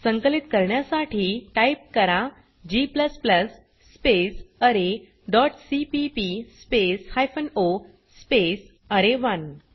संकलित करण्यासाठी टाइप करा g space R dot CPP space hyphen O space अरे1